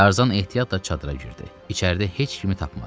Tarzan ehtiyatla çadıra girdi, içəridə heç kimi tapmadı.